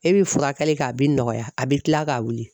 E bi furakɛli kɛ a bi nɔgɔya a bi kila ka wuli.